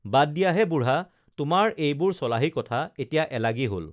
বাদ দিয়াহে বুঢ়া তোমাৰ এইবোৰ চলাহী কথা এতিয়া এলাগী হল